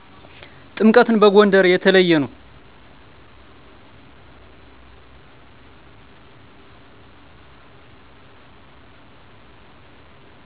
ጥምቀት በጎንደር የተለየ ነዉ